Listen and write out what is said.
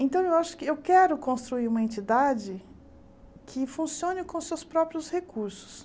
Então, eu acho que eu quero construir uma entidade que funcione com seus próprios recursos.